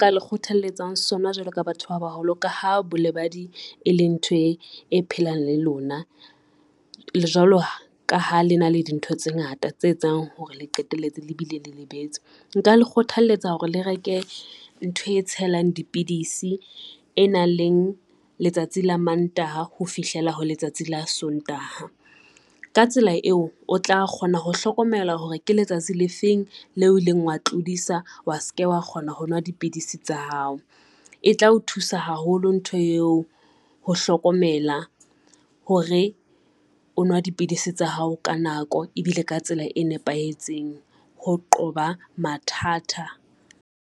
Ka le kgothalletsang sona jwalo ka batho ba baholo, ka ha bolebadi e leng ntho e, e phelang le lona, jwalo ka ha lena le dintho tse ngata tse etsang hore le qetelletse le bile le lebetse. Nka le kgothalletsa hore le reke ntho e tshelang dipidisi e nang leng letsatsi la Mantaha ho fihlela ho letsatsi la Sontaha. Ka tsela eo o tla kgona ho hlokomela hore ke letsatsi lefeng leo oileng wa tlodisa wa se ke wa kgona hovnwa dipidisi tsa hao. E tla o thusa haholo ntho eo ho hlokomela hore o nwa dipidisi tsa hao ka nako e bile ka tsela e nepahetseng ho qoba mathata.